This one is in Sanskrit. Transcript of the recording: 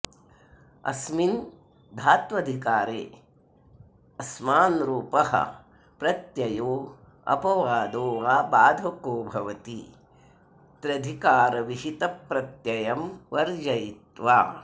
अस्मिन् धात्वधिकारे ऽस्मानरूपः प्रत्ययो ऽपवादो वा बाधको भवति स्त्र्यधिकारविहितप्रत्ययं वर्जयित्वा